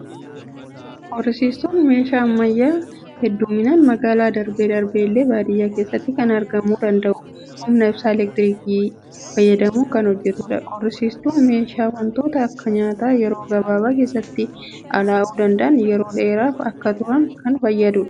Qorrisiistuun meeshaa ammayyaa, hedduminaan magaalaa, darbee darbee illee baadiyyaa keessatti kan argamuu danda'u, humna ibsaa eleektirikii fayyadamuun kan hojjetudha. Qorrisiistuun meeshaa waantota akka nyaata yeroo gabaabaa keessatti allaa'uu danda'an yeroo dheeraaf akka turan kan fayyadudha.